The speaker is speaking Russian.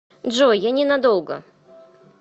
джой я не надолго